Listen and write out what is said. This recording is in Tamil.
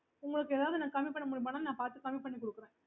okay